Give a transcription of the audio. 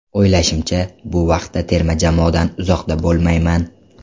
O‘ylashimcha, bu vaqtda terma jamoadan uzoqda bo‘lmayman.